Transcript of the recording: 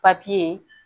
papiye